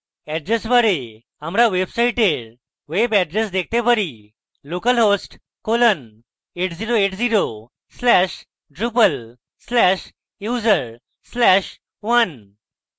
address bar আমরা ওয়েবসাইটের web address দেখতে পারি